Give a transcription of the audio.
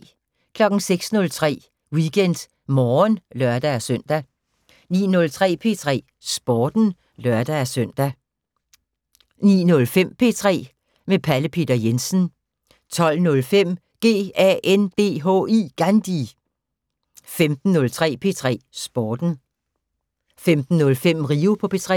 06:03: WeekendMorgen (lør-søn) 09:03: P3 Sporten (lør-søn) 09:05: P3 med Pelle Peter Jensen 12:05: GANDHI 15:03: P3 Sporten 15:05: Rio på P3